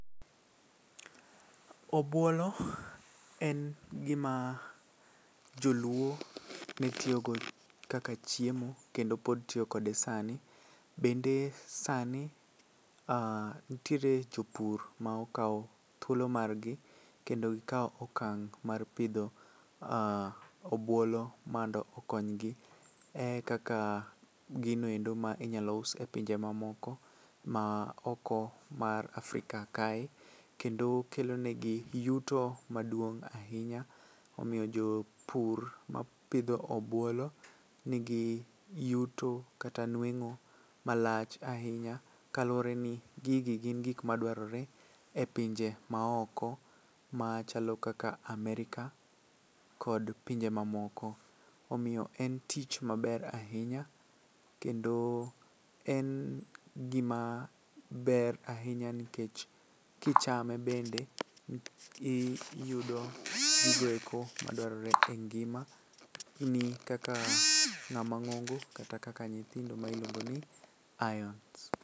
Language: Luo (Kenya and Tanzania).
Obuolo en gima joluo ne tiyogo kaka chiemo kendo pod tiyo kode sani bende sani ntiere jopur ma okawo thuolo margi kendo gikawo okang' mar pidho obuolo mondo okonygi e kaka gino endo ma inyalo us e pinje mamoko maoko mar Afrika kae kendo kelonegi yuto maduong' ahinya .Omiyo jopur mapidho obuolo nigi yuto kata nweng'o malach ahinya kaluwore ni gigi gin gik madwarore e pinje maoko machalo kaka Amerika kod pinje mamoko, omiyo en tich maber ahinya kendo en gimaber ahinya nkech kichame bende iyudo gigo eko madwarore e ngimani kaka ng'ama ng'ongo kata kaka nyithindo ma iluongo ni irons.